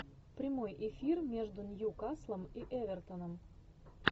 прямой эфир между ньюкаслом и эвертоном